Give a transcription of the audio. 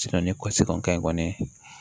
ni kɔsan ka ɲi kɔni